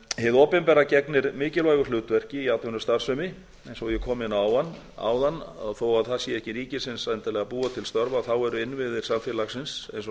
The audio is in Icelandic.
hið opinbera gegnir mikilvægu hlutverki í atvinnustarfsemi eins og ég kom inn á áðan þó að það sé ekki ríkisins endilega að búa til störf eru innviðir samfélagsins eins og